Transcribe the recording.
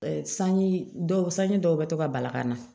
Sanji dɔw sanji dɔw bɛ to ka bala ka na